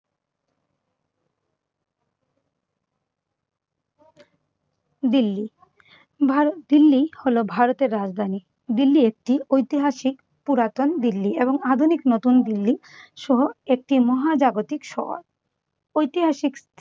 দিল্লি, ভার~ দিল্লি হলো ভারতের রাজধানী । দিল্লি একটি ঐতিহাসিক পুরাতন দিল্লি এবং আধুনিক নতুন দিল্লি সহ একটি মহাজাগতিক শহর। ঐতিহাসিক